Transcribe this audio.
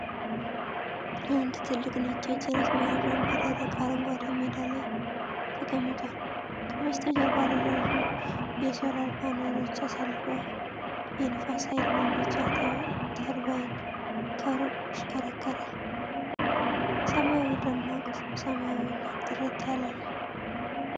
አንድ ትልቅ ነጭ የጭነት መያዣ በደረቅ አረንጓዴ ሜዳ ላይ ተቀምጧል። ከበስተጀርባ ረዣዥም የሶላር ፓነሎች ተሰልፈው የንፋስ ኃይል ማመንጫ ተርባይን ከሩቅ ይሽከረከራል። ሰማዩ ደማቅ ሰማያዊ እና ጥርት ያለ ነው።